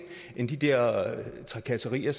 end de der trakasserier